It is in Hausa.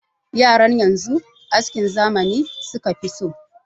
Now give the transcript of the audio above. Yaran yanzu askin zamani suka fi so.